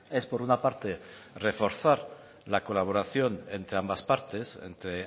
es por una parte reforzar la colaboración entre ambas partes entre